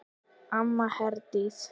Amma Herdís.